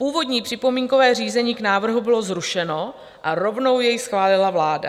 Původní připomínkové řízení k návrhu bylo zrušeno a rovnou jej schválila vláda.